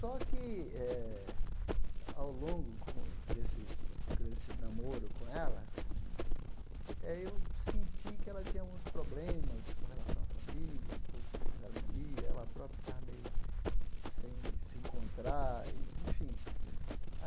Só que eh, ao longo desse desse namoro com ela, eh eu senti que ela tinha alguns problemas com relação à família, um pouco de desarmonia, ela própria estava meio sem se encontrar e, enfim.